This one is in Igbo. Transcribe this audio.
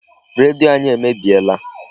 Redio anyị emebiela.